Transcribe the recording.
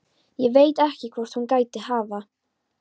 Og ég veit ekki hvert hún gæti hafa.